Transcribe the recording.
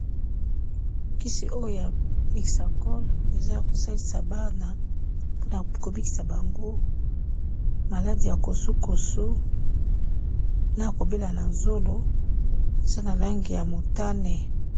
Kisi oyo ya Mixakol eza ya kosalisa bana mpona ko bikisa bango maladie ya kosu-kosu, na kobela na zolo, eza na langi ya motane.